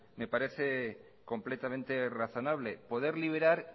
me parece completamente razonable poder liberar